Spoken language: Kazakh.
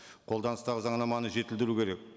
қолданыстағы заңнаманы жетілдіру керек